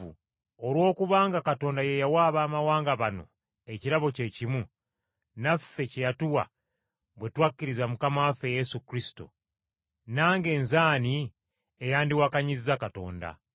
Olw’okubanga Katonda ye yawa Abaamawanga bano ekirabo kye kimu, naffe kye yatuwa bwe twakkiriza Mukama waffe Yesu Kristo, nange nze ani eyandiwakanyizza Katonda?”